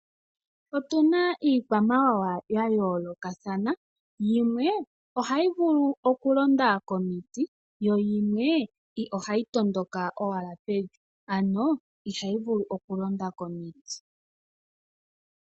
Otuna iikwamawawa ya yoolokathana, yimwe ohayi vulu oku londa komiti yo yimwe ohayi tondoka owala pevi, ano ihayi vulu oku londa komiti.